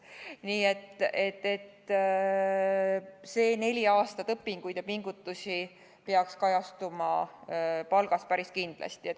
Nii et see neli aastat õpinguid ja pingutusi peaks päris kindlasti kajastuma palgas.